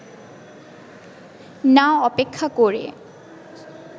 না অপেক্ষা করে